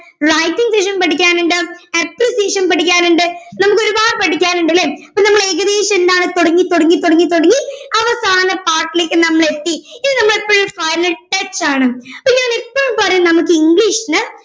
lighting section പഠിക്കാനുണ്ട് appreciation പഠിക്കാനുണ്ട് നമ്മുക്കൊരുപാട് പഠിക്കാനുണ്ട് അല്ലെ അപ്പൊ നമ്മൾ ഏകദേശം എന്താണ് തൊടങ്ങി തൊടങ്ങി തൊടങ്ങി തൊടങ്ങി അവസാന part ഇലേക്ക് നമ്മൾ എത്തി ഇനി നമ്മൾ എപ്പഴും ആണ് അപ്പൊ ഞാൻ എപ്പഴും പറയും നമ്മുക്ക് ഇംഗ്ലീഷിനെ